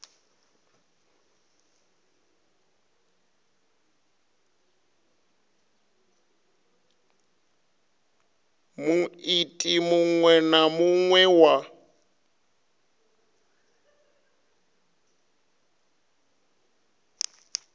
muiti muṅwe na muṅwe wa